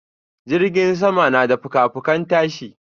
jirgin sama na da fuka-fukan tashi.